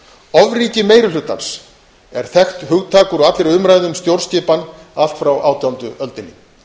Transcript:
ofríki meiri hlutans er þekkt hugtak úr allri umræðu um stjórnskipan allt frá átjándu öldinni